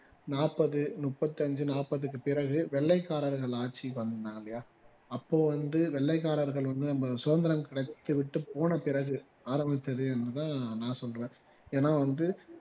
நாற்பது முப்பத்தி ஐந்து நாற்பதுக்கு பிறகு வெள்ளைக்காரர்கள் ஆட்சிக்கு வந்தாங்க அப்போ வந்து வெள்ளைக்காரர்கள் வந்து நம்ம சுதந்திரம் கிடைச்சு விட்டு போன பிறகு ஆரம்பித்தது அப்படித்தான் நான் சொல்றேன் ஏன்னா வந்து